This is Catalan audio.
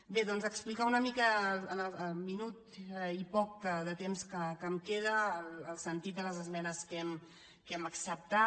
bé doncs explicar una mica en el minut i poc de temps que em queda el sentit de les esmenes que hem acceptat